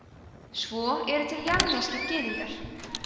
svo eru til jemenskir gyðingar